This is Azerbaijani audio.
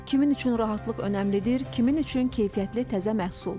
Kimin üçün rahatlıq önəmlidir, kimin üçün keyfiyyətli təzə məhsul.